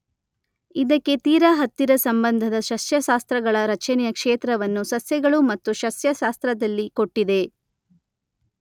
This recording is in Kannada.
ಇದಕ್ಕೆ ತೀರ ಹತ್ತಿರ ಸಂಬಂಧದ ಸಸ್ಯಶಾಸ್ತ್ರಗಳ ರಚನೆಯ ಕ್ಷೇತ್ರವನ್ನು ಸಸ್ಯಗಳು ಮತ್ತು ಸಸ್ಯಶಾಸ್ತ್ರದಲ್ಲಿ ಕೊಟ್ಟಿದೆ.